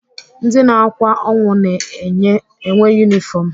Ndị na-akwa ọnwụ na-enwe yunịfọm.